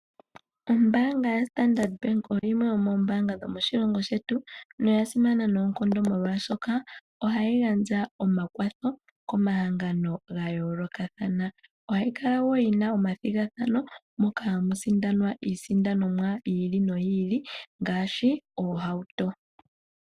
Ombanga yaStandard oyo yimwe yomoombanga dhomoshilongo shetu noya simana noonkondo molwaashoka ohayi gandja omakwatho komahangano gaayoolokathana. Ohayi kala wo yina omathigathano moka hamu sindanwa isindanomwa yi ili noyi ili ngaashi oohauto.